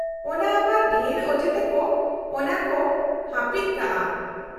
- ᱚᱱᱟ ᱟᱵᱟᱨ ᱰᱷᱮᱨ ᱚᱡᱮ ᱛᱮᱠᱚ ᱚᱱᱟᱠᱚ ᱦᱟᱹᱯᱤᱫ ᱠᱟᱜᱼᱟ ᱾